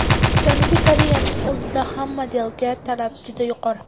Janubiy Koreyaning o‘zida ham modelga talab juda yuqori.